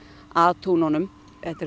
að túnunum þetta eru